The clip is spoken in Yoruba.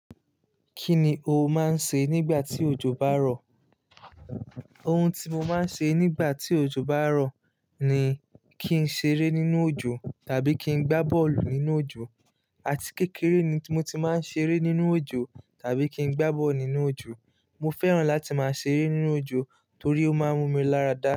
Kí ni o máa ń ṣe nígbà tí òjò bá rọ̀? Ohun tí mo máa ń ṣe nígbà tí òjò bá rọ̀ ni kí n ṣeré nínú òjò tàbí kí n gbá bọ́ọ̀lù nínú òjò. Àti kékeré ni mo ti máa ń ṣeré nínú òjò tàbí kí n gbá bọ́ọ̀lù nínú òjò. Mo fẹ́ràn láti máa ṣeré nínú òjò torí ó máa ń mú mi lára dá.